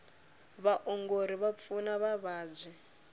vaongori va pfuna vavabyi